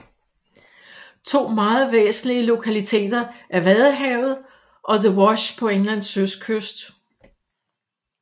To meget væsentlige lokaliteter er Vadehavet og the Wash på Englands østkyst